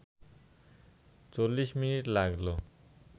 ৪০ minute লাগল